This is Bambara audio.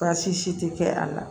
Baasi si tɛ kɛ a la